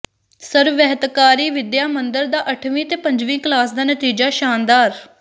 ਸਰਵਹਿਤਕਾਰੀ ਵਿੱਦਿਆ ਮੰਦਰ ਦਾ ਅੱਠਵੀਂ ਤੇ ਪੰਜਵੀਂ ਕਲਾਸ ਦਾ ਨਤੀਜਾ ਸ਼ਾਨਦਾਰ